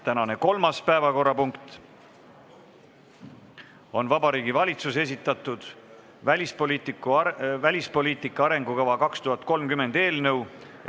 Tänane kolmas päevakorrapunkt on Vabariigi Valitsuse esitatud "Välispoliitika arengukava 2030" eelnõu.